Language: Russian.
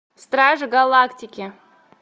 стражи галактики